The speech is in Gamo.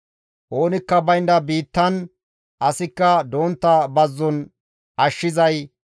Oonikka baynda biittan asikka dontta bazzon ashshizay,